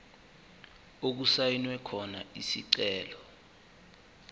okusayinwe khona isicelo